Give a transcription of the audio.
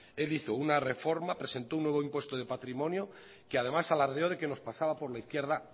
él hizo una reforma presentó un nuevo impuesto de patrimonio que además alardeó de que nos pasaba por la izquierda